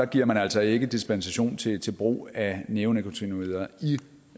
giver man altså ikke dispensation til til brug af neonikotinoider